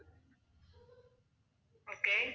okay